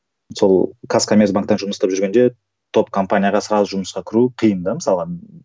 сол казкомерцбанкте жұмыс істеп жүргенде топ компанияға сразу жұмысқа кіру қиын да мысалға